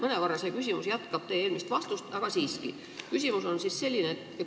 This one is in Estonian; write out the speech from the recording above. Mõnevõrra see küsimus jätkab teie eelmise vastuse teemat, aga küsin siiski.